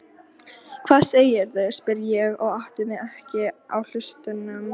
Hvað segirðu? spyr ég og átta mig ekki á hlutunum.